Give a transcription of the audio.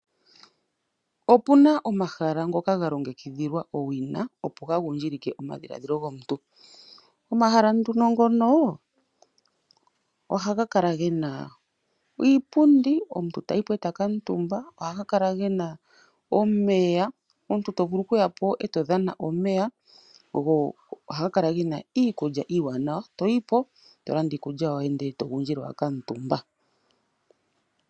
Opuna omahala ngoka ga longekidhilwa owina opo ga gundjilike omadhiladhilo gomuntu. Omahala nduno ngono ohaga kala gena iipundi, omuntu tayi po eta kala omutumba. Ohaga kala gena omeya, omuntu tomvulu okuya po eto dhana omeya, go ohaga kala gena iikulya iiwanawa, toyi po ndele tolanda iikulya yoye, ndele togundjile wakala omutumba.